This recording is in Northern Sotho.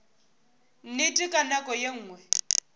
nnete ka nako ye nngwe